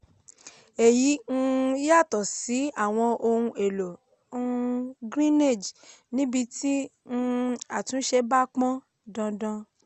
èyí um yàtọ̀ sí àwọn ohun èlò um greenage níbí tí um àtúnṣe bá pọn dandan.